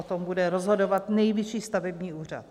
O tom bude rozhodovat Nejvyšší stavební úřad.